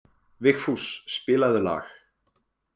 Vigfús, spilaðu lag.